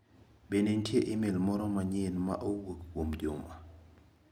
Bende nitie imel moro manyien ma owuok kuom Juma?